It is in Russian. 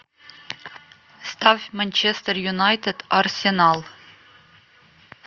ставь манчестер юнайтед арсенал